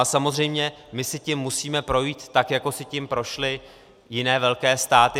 A samozřejmě, my si tím musíme projít, tak jako si tím prošly jiné velké státy.